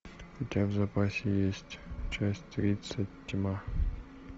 у тебя в запасе есть часть тридцать тьма